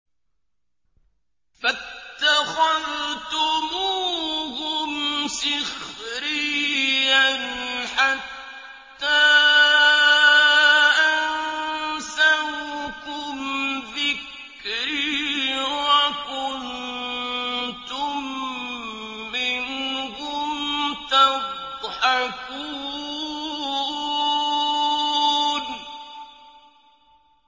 فَاتَّخَذْتُمُوهُمْ سِخْرِيًّا حَتَّىٰ أَنسَوْكُمْ ذِكْرِي وَكُنتُم مِّنْهُمْ تَضْحَكُونَ